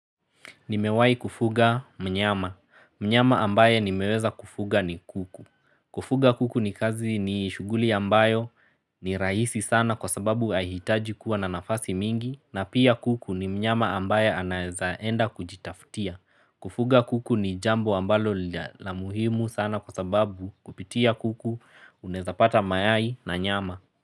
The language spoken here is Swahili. Nimewahi kufuga mnyama. Mnyama ambaye nimeweza kufuga ni kuku. Kufuga kuku ni kazi ni shughuli ambayo ni rahisi sana kwa sababu ahitaji kuwa na nafasi mingi na pia kuku ni mnyama ambaye anaweza enda kujitaftia. Kufuga kuku ni jambo ambalo la muhimu sana kwa sababu kupitia kuku unweza pata mayai na nyama.